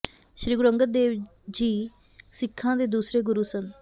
ਸ੍ਰੀ ਗੁਰੂ ਅੰਗਦ ਦੇਵ ਜੀ ਸਿੱਖਾਂ ਦੇ ਦੂਸਰੇ ਗੁਰੂ ਸਨ